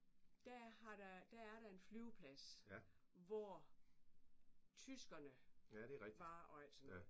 Der har der der er der en flyveplads hvor tyskerne var og alt sådan noget